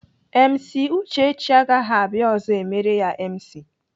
MC Uchechi agaghị abịa ọzọ emere ya MC.